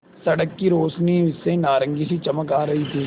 सड़क की रोशनी से नारंगी सी चमक आ रही थी